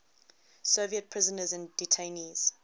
soviet prisoners and detainees